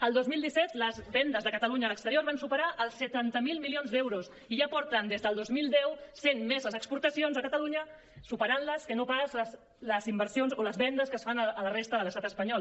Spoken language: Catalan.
el dos mil disset les vendes de catalunya a l’exterior van superar els setanta miler milions d’euros i ja porten des del dos mil deu sent més les exportacions a catalunya superant les que no pas les inversions o les vendes que es fan a la resta de l’estat espanyol